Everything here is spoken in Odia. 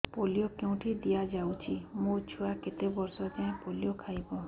ପୋଲିଓ କେଉଁଠି ଦିଆଯାଉଛି ମୋ ଛୁଆ କେତେ ବର୍ଷ ଯାଏଁ ପୋଲିଓ ଖାଇବ